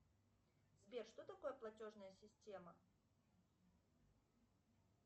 сбер что такое платежная система